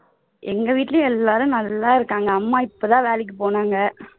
எங்க வீட்டிலேயும் எல்லாரும் நல்லா இருக்காங்க அம்மா இப்போதான் வேலைக்கு போனாங்க